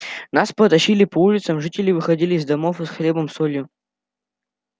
нас потащили по улицам жители выходили из домов и с хлебом солью